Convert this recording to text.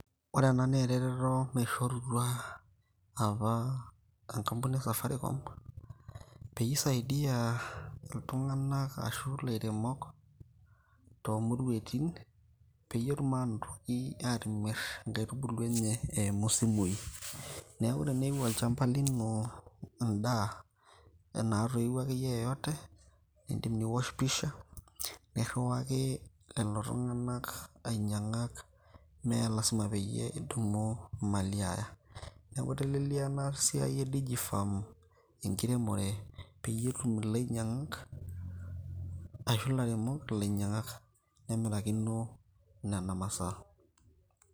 Ore ena na ereteto naishorutua apa enkampuni e Safaricom, peyie isaidia iltung'anak ashu ilairemok tomuruaitin, peyie etum anotoki atimir inkaitubulu enye eimu isimui. Neeku teneu olchamba lino endaa enatoiwuo akeyie yoyote ,nidim niwosh pisha, nirriwaki lelo tung'anak ainyang'ak. Me lasima peyie idum imali aya. Neeku itelelia enasiai e Digi Farm enkiremore peyie etum ilainyang'ak, ashu ilairemok ilainyang'ak. Nemirakino nena masaa.